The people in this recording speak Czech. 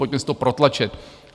Pojďme si to protlačit.